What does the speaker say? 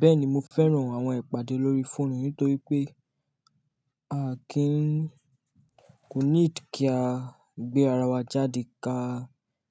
Bẹ́ẹ̀ni mo fẹ́ràn àwọn ìpàdé lórí fóònù nítorí pé, a kìí n, kò need kí a gbé ara wa jáde ká